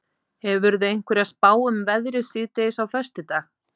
hefurðu einhverja spá um veðrið síðdegis á föstudag